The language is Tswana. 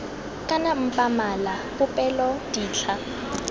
kana mpa mala popelo ditlha